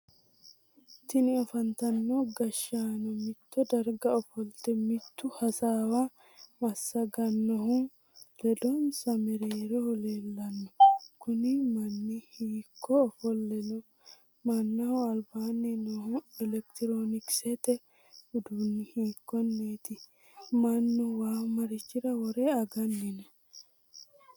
Tinni afantino gashaano mitto darga ofolte mitu hasaawa masaganohu ledonsa mereeroho leelano kunni manni hiikko ofole no? Mannaho albaanni noohu elekitiroonikisete uduunni hiikoneeti? Mannu waa marichira wore aganni no?